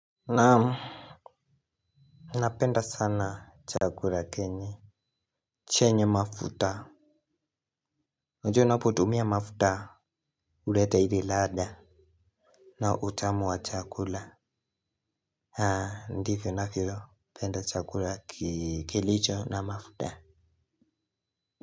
Naam. Napenda sana chakula kenye. Chenye mafuta juu ninapo tumia mafuta huleta ile ladha. Na utamu wa chakula. Ndivyo navyopenda chakula kilicho na mafuta.